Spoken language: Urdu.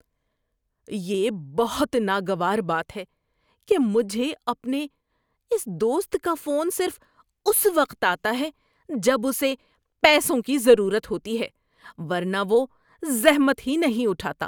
یہ بہت ناگوار بات ہے کہ مجھے اپنے اس دوست کا فون صرف اس وقت آتا ہے جب اسے پیسوں کی ضرورت ہوتی ہے ورنہ وہ زحمت ہی نہیں اٹھاتا۔